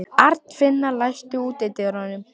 Arnfinna, læstu útidyrunum.